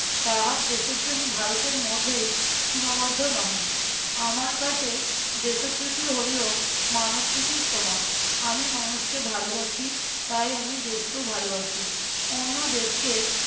তাহার দেশোপ্রেম ভারতের মধ্যেই সীমাবদ্ধ নহে। আমার কাছে দেশোপ্রীতি হইলো মানব প্রীতির সমান। আমি মানুষকে ভালোবাসি তাই আমি দেশকেও ভালোবাসি। অন্য দেশকে